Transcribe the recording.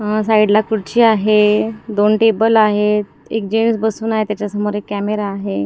अ side ला खुर्ची आहे दोन टेबल आहेत एक जेंट्स बसून आहे त्याच्यासमोर एक कॅमेरा आहे.